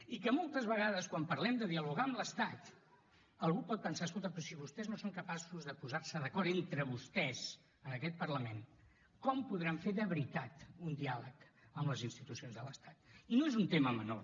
i que moltes vegades quan parlem de dialogar amb l’estat algú pot pensar escolta però si vostès no són capaços de posar se d’acord entre vostès en aquest parlament com podran fer de veritat un diàleg amb les institucions de l’estat i no és un tema menor